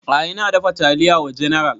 A'a ina dafa taliya wa general